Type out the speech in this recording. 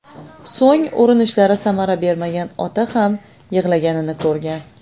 So‘ng urinishlari samara bermagan ota ham yig‘laganini ko‘rgan.